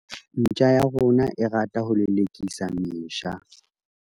ntja ya rona e rata ho lelekisa mesha